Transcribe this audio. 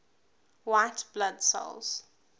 white blood cells